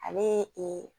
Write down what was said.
Ani ee